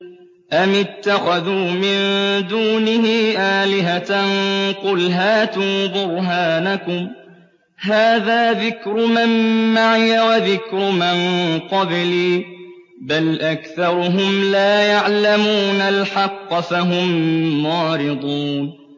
أَمِ اتَّخَذُوا مِن دُونِهِ آلِهَةً ۖ قُلْ هَاتُوا بُرْهَانَكُمْ ۖ هَٰذَا ذِكْرُ مَن مَّعِيَ وَذِكْرُ مَن قَبْلِي ۗ بَلْ أَكْثَرُهُمْ لَا يَعْلَمُونَ الْحَقَّ ۖ فَهُم مُّعْرِضُونَ